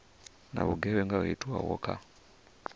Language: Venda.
na vhugevhenga ho itwaho kha